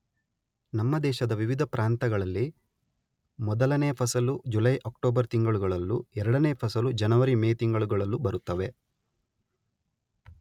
ನಮ್ಮ ದೇಶದ ವಿವಿಧ ಪ್ರಾಂತಗಳಲ್ಲಿ ಮೊದಲನೆಯ ಫಸಲು ಜುಲೈ ಅಕ್ಟೋಬರ್ ತಿಂಗಳುಗಳಲ್ಲೂ ಎರಡನೆಯ ಫಸಲು ಜನವರಿ ಮೇ ತಿಂಗಳುಗಳಲ್ಲೂ ಬರುತ್ತವೆ